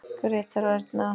Grétar og Erna.